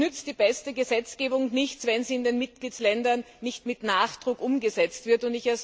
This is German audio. Es nützt die beste Gesetzgebung nichts, wenn sie in den Mitgliedstaaten nicht mit Nachdruck umgesetzt wird.